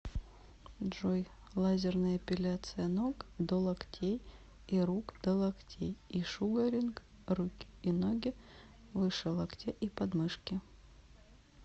джой лазерная эпиляция ног до локтей и рук до локтей и шугаринг руки и ноги выше локтя и подмышки